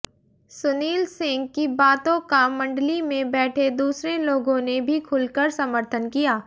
सुनील सिंह की बातों का मंडली में बैठे दूसरे लोगों ने भी खुलकर समर्थन किया